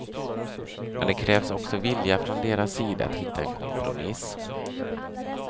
Men det krävs också vilja från deras sida att hitta en kompromiss.